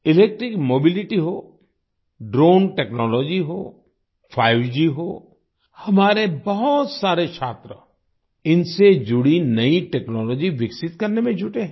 electric mobility हो drone technology हो 5G हो हमारे बहुत सारे छात्र इनसे जुड़ी नई टेक्नोलॉजी विकसित करने में जुटे हैं